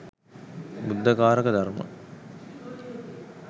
බුද්ධ කාරක ධර්ම,